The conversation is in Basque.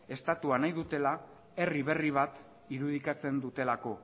estatua nahi dutela herri berri bat irudikatzen dutelako